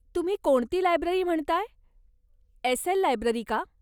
तुम्ही कोणती लायब्ररी म्हणताय, एस.एल. लायब्ररी का?